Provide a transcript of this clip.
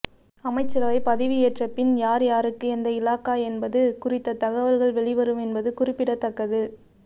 அமைச்சரவை பதவி ஏற்ற பின் யார் யாருக்கு எந்த இலாகா என்பது குறித்த தகவல்கள் வெளிவரும் என்பது குறிப்பிடத்தக்கது